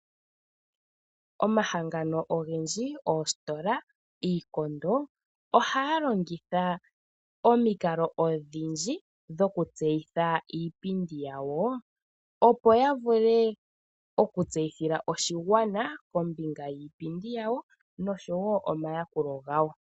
Omahangano ogendji, oositola niikondo ohaya longitha omikalo odhindji dhokutseyitha iipindi yawo, opo ya vule okutseyithila oshigwana kombinga yiipindi yawo nosho wo omayakulo gawo.